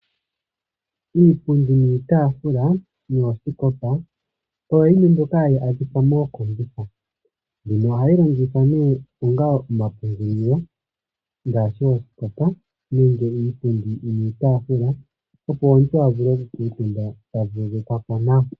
Iipundi niitaafula noosikopa oyo yimwe mbyoka hayi adhika mookombitha. Mbino ohayi longithwa nee onga omapungulilo ngaashi oosikopa nenge iipundi niitaafula, opo omuntu a vule okukuutumba ta vululukwa po nawa.